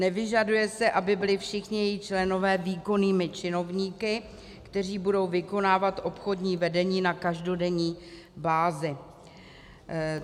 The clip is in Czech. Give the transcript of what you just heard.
Nevyžaduje se, aby byli všichni její členové výkonnými činovníky, kteří budou vykonávat obchodní vedení na každodenní bázi.